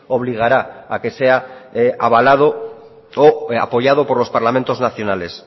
obligará a que sea avalado o apoyado por los parlamentos nacionales